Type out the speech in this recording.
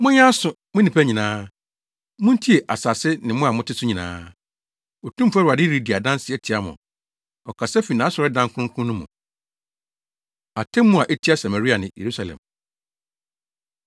Monyɛ aso, mo nnipa nyinaa, muntie, asase ne mo a mote so nyinaa. Otumfo Awurade redi adanse atia mo, ɔkasa fi nʼasɔredan kronkron no mu. Atemmu A Etia Samaria Ne Yerusalem